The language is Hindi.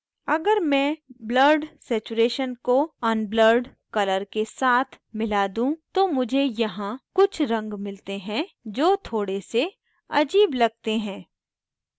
अगर मैं blurred saturation को unblurred colour के साथ मिला दूँ तो मुझे यहाँ कुछ रंग मिलते हैं जो थोड़े से अजीब लगते हैं